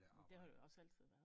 Men det har du jo også altid været